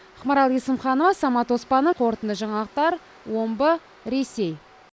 ақмарал есімханова самат оспанов қорытынды жаңалықтар омбы ресей